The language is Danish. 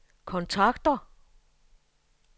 kontakter